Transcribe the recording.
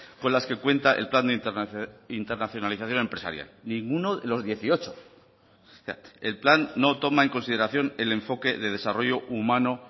con las que cuenta el plan de internacionalización empresarial ninguno de los dieciocho el plan no toma en consideración el enfoque de desarrollo humano